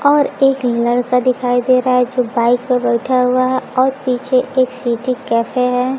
और एक लड़का दिखाई दे रहा है जो बाइक प बैठा हुआ है और पीछे एक सीटि कैफे हैं।